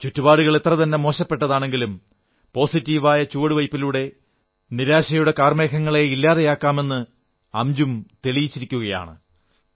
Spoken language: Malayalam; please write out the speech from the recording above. ചുറ്റുപാടുകൾ എത്രതന്നെ മോശപ്പെട്ടതാണെങ്കിലും സകാരാത്മകമായ ചുവടുവയ്പ്പിലൂടെ നിരാശയുടെ കാർമേഘങ്ങളെ ഇല്ലാതെയാക്കാമെന്ന് അംജും തെളിയിച്ചിരിക്കയാണ്